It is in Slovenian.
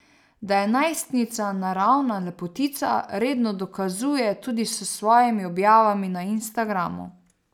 Da je najstnica naravna lepotica, redno dokazuje tudi s svojimi objavami na Instagramu.